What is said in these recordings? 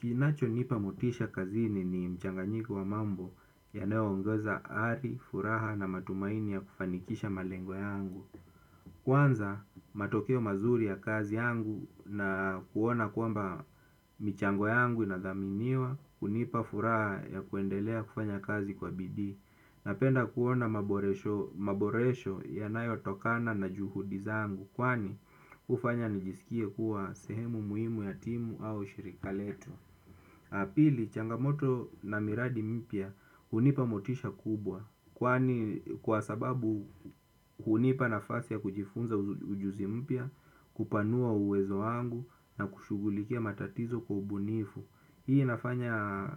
Kinacho nipa motisha kazini ni mchanganyiko wa mambo yanayo ongeza ari, furaha na matumaini ya kufanikisha malengo yangu. Kwanza matokeo mazuri ya kazi yangu na kuona kwamba michango yangu inadhaminiwa hunipa furaha ya kwendelea kufanya kazi kwa bidii. Napenda kuona maboresho yanayo tokana na juhudi zangu kwani hufanya nijisikie kuwa sehemu muhimu ya timu au shirika letu. Apili changamoto na miradi mpya hunipa motisha kubwa kwani kwa sababu hunipa nafasi ya kujifunza ujuzi mpya kupanua uwezo wangu na kushughulikia matatizo kwa ubunifu. Hii inafanya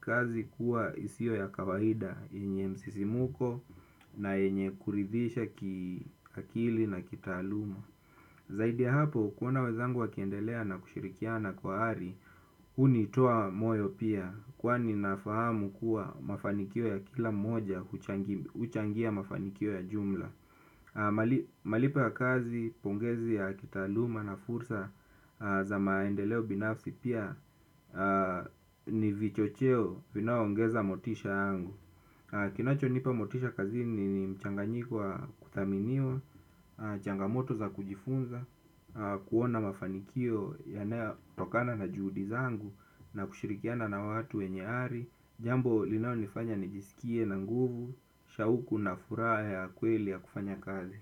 kazi kuwa isio ya kawaida yenye msisimuko na yenye kuridhisha kiakili na kitaaluma. Zaidi ya hapo, kuona wezangu wakiendelea na kushirikiana kwa hari, hunitoa moyo pia. Kwani nafahamu kuwa mafanikio ya kila mmoja, huchangia mafanikio ya jumla. Malipo ya kazi pongezi ya kitaaluma na fursa za maendeleo binafsi pia ni vichocheo vinao ongeza motisha yangu. Kinacho nipa motisha kazini ni mchanganyo wa kuthaminiwa, changamoto za kujifunza, kuona mafanikio yanayo tokana na juhudi zangu na kushirikiana na watu wenye ari. Jambo linao nifanya nijisikie na nguvu. Shauku na furaha ya kweli ya kufanya kazi.